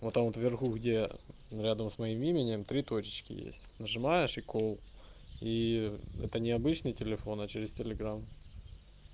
вот там вот в верху где рядом с моим именем три точечки есть нажимаешь и кол и это необычный телефон а через телеграм